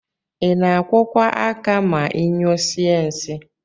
Ina akwọkwa aka ma inyụọsie nsi?